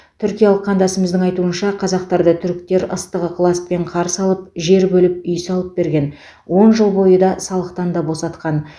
түркиялық қандасымыздың айтуынша қазақтарды түріктер ыстық ықыласпен қарсы алып жер бөліп үй салып берген он жыл бойы да салықтан да босатқан